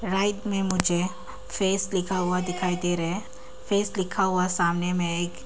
right में मुझे face लिखा हुआ दिखाई दे रहा है फेस लिखा हुआ सामने में एक--